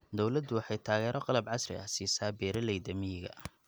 Dawladdu waxay taageero qalab casri ah siisaa beeralayda miyiga.